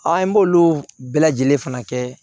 An b'olu bɛɛ lajɛlen fana kɛ